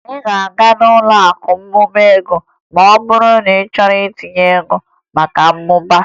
Ị ga-aga n'ụlọakụ na-amụba ego ma ọ bụrụ na ị chọrọ itinye ego maka mmụba